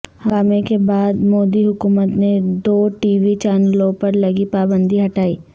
ہنگامہ کے بعد مودی حکومت نے دو ٹی وی چینلوں پر لگی پابندی ہٹائی